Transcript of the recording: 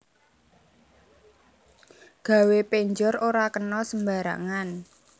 Gawe penjor ora kena sembarangan